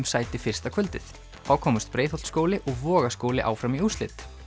sæti fyrsta kvöldið þá komust Breiðholtsskóli og Vogaskóli áfram í úrslit